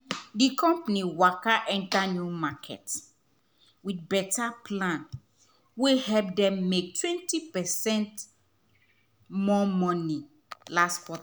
di company waka enter new market with better plan wey help dem make 25 percent more money last quarter.